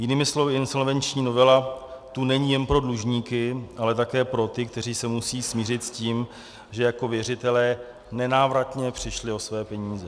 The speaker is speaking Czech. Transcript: Jinými slovy insolvenční novela tu není jen pro dlužníky, ale také pro ty, kteří se musí smířit s tím, že jako věřitelé nenávratně přišli o své peníze.